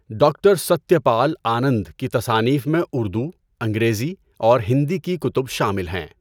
Doctor Satya Pal Anand کی تصانیف میں اردو، انگریزی اور ہندی کی کتب شامل ہیں۔